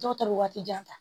Dɔw ta bɛ waati jan ta